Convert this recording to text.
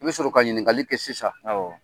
I bi sɔrɔ ka ɲininkali kɛ sisan